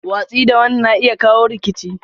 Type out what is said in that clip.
Watsi da wani na iya kawo rikici.